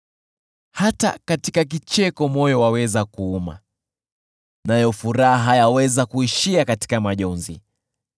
Hata katika kicheko moyo waweza kuuma, nayo furaha yaweza kuishia katika majonzi.